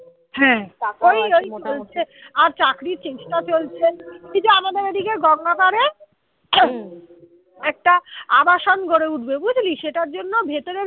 আর চাকরির চেষ্টা চলছে এই যে আমাদের এদিকে গঙ্গা পারে হম একটা আবাসন করে উঠবে বুঝলি সেটার জন্য ভেতরে